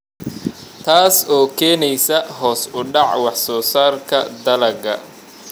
Taas oo keenaysa hoos u dhaca wax soo saarka dalagga.